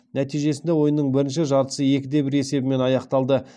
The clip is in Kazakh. нәтижесінде ойынның бірінші жартысы екі де бір есебімен аяқталды